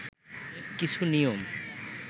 কিছু নিয়ম